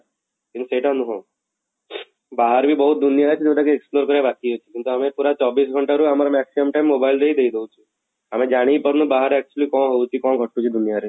କିନ୍ତୁ ସେଇଟା ନୁହଁ ବାହାରେ ରେ ବି ବହୁତ ଦୁନିଆ ଅଛି ଯଉଟା କି explore କରିବା ବାକି ଅଛି କିନ୍ତୁ ଆମେ ପୁରା ଚବିଶ ଘଣ୍ଟା ରୁ ଆମର maximum time mobile ରେ ହିଁ ଦେଇଦଉଛୁ, ଆମେ ଜାଣି ହିଁ ପାରୁନୁ ବାହାରେ actually କ'ଣ ହୋଉଛି କ'ଣ ଘଟୁଛି ଦୁନିଆରେ